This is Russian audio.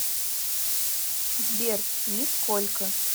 сбер нисколько